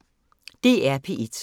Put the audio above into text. DR P1